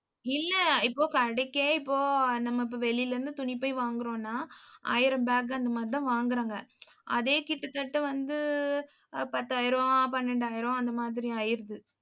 இல்லை இப்போ கடைக்கே இப்போ நம்ம இப்போ வெளியிலே இருந்து துணிப்பை வாங்குறோம்னா ஆயிரம் bag அந்த மாதிரிதான் வாங்குறாங்க. அதே கிட்டத்தட்ட வந்து பத்தாயிரம், பன்னெண்டாயிரம் அந்த மாதிரி ஆயிடுது.